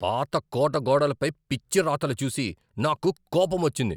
పాత కోట గోడలపై పిచ్చి రాతలు చూసి నాకు కోపమొచ్చింది.